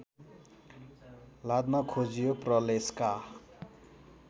लाद्न खोजियो प्रलेसका